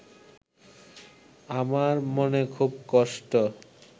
আমার মনে খুব কষ্ট